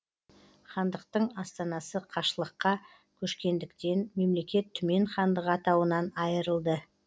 хандықтың астанасы қашлыққа көшкендіктен мемлекет түмен хандығы атауынан айырылды